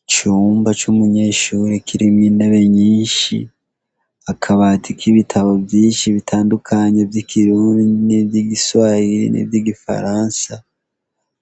Icumba c'umunyeshuri kirimwo intebe nyinshi akabati k'ibitabo vyinshi bitandukanye vy'ikirundi n'igiswahiri n'igifaransa,